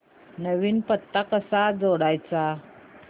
नवीन पत्ता कसा जोडायचा